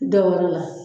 Da wɛrɛ la